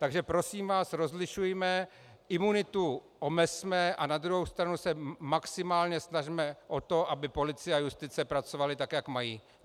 Takže prosím vás, rozlišujme, imunitu omezme a na druhou stranu se maximálně snažme o to, aby policie a justice pracovaly tak, jak mají.